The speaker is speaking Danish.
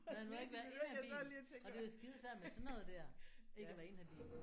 Man må ikke være inhabil. Og det er jo skidesvært med sådan noget der ikke at være inhabil